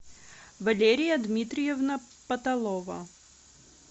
валерия дмитриевна паталова